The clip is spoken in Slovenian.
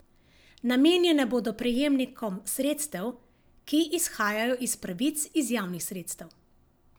Namenjene bodo prejemnikom sredstev, ki izhajajo iz pravic iz javnih sredstev.